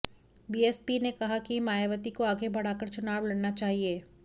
BSP ने कहा कि मायावती को आगे बढ़ाकर चुनाव लड़ना चाहिए